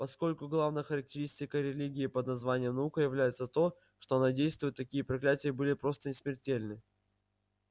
поскольку главной характеристикой религии под названием наука является то что она действует такие проклятия были просто несмертельны